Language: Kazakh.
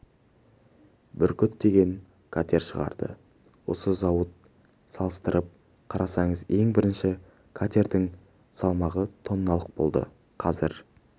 бүркіт деген катер шығарды осы зауыт салыстырып қарасаңыз ең бірінші катердің салмағы тонналық болды қазір